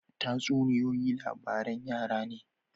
Tatsuniyoyi labaran yara ne.